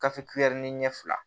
Gafe kulɛri ɲɛ fila